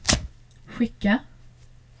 skicka